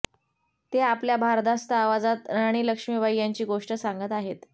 ते आपल्या भारदस्त आवाजात राणी लक्ष्मीबाई यांची गोष्ट सांगत आहेत